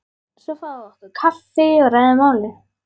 Svo fáum við okkur kaffi og ræðum málin.